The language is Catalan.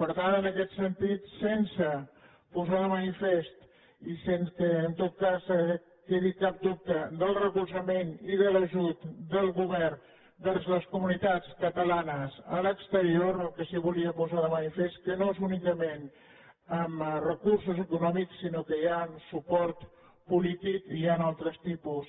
per tant en aquest sentit sense posar de manifest i sense que en tot cas quedi cap dubte del recolzament i de l’ajut del govern vers les comunitats catalanes a l’exterior el que sí que volia posar de manifest és que no és únicament amb recursos econòmics sinó que hi ha suport polític i hi han altres tipus